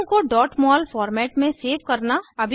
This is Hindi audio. अणु को mol फॉर्मेट में सेव करना